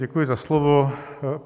Děkuji za slovo.